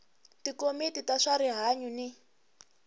tikomiti ta swa rihanyu ni